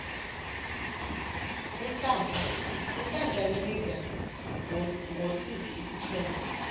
unhlanhla nciza ngosiphi isiqhema